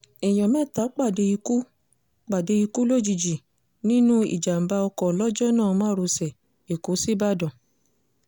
èèyàn mẹ́ta pàdé ikú pàdé ikú òjijì nínú ìjàm̀bá ọkọ̀ lọ́júnà márosẹ̀ èkó síbàdàn